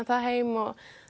það heim og